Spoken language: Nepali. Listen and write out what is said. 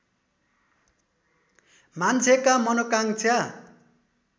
मान्छेका मनोकाङ्क्षा